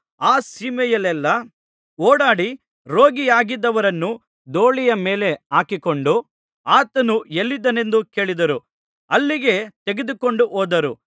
ಆ ಸೀಮೆಯಲ್ಲೆಲ್ಲಾ ಓಡಾಡಿ ರೋಗಿಯಾಗಿದ್ದವರನ್ನು ದೋಲಿಯ ಮೇಲೆ ಹಾಕಿಕೊಂಡು ಆತನು ಎಲ್ಲಿದ್ದಾನೆಂದು ಕೇಳಿದರೋ ಅಲ್ಲಿಗೆ ತೆಗೆದುಕೊಂಡು ಹೋದರು